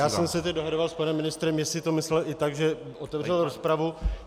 Já jsem se teď dohadoval s panem ministrem, jestli to myslel i tak, že otevřel rozpravu.